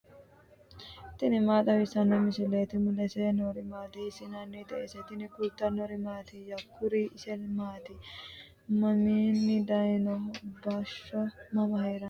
tini maa xawissanno misileeti ? mulese noori maati ? hiissinannite ise ? tini kultannori mattiya? Kuri isi maatti? Maminni dayiinno? bashsho mama heeranno?